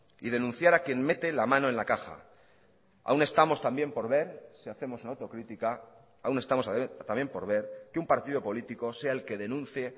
y denunciar a quien mete la mano en la caja aún estamos también por ver si hacemos una autocrítica aún estamos también por ver que un partido político sea el que denuncie